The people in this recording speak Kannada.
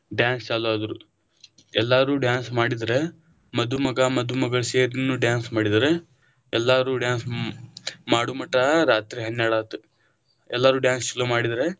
Dance ಚಾಲು ಆದರು, ಎಲ್ಲರು dance ಮಾಡಿದ್ರ ಮಧುಮಗ ಮಧುಮಗಳನು ಸೇರಿನು dance ಮಾಡಿದ್ದಾರೆ, ಎಲ್ಲರೂ dance ಮಾಡುಮಠ ರಾತ್ರಿ ಹನ್ನೆರಡ್ ಆತು, ಎಲ್ಲರು dance ಚಲೋ ಮಾಡಿದ್ದಾರೆ.